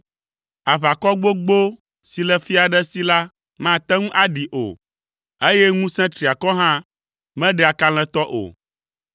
Aʋakɔ gbogbo si le fia aɖe si la mate ŋu aɖee o, eye ŋusẽ triakɔ hã meɖea kalẽtɔ o.